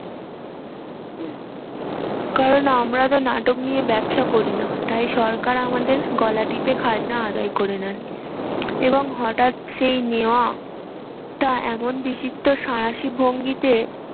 কারণ আমরা তো নাটক নিয়ে ব্যবসা করি না। তাই সরকার আমাদের গলা টিপে খাজনা আদায় করে নেয়। এবং হঠাৎ সেই এমন বিচিত্র ভঙ্গিতে